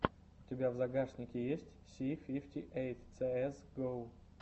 у тебя в загашнике есть си фифти эйт цээс го